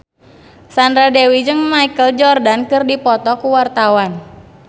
Sandra Dewi jeung Michael Jordan keur dipoto ku wartawan